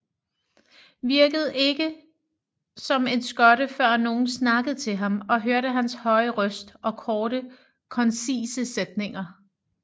Virkede ikke som en skotte før nogen snakkede til ham og hørte hans høje røst og korte koncise sætninger